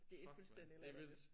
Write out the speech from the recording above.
Det er fuldstændigt latterligt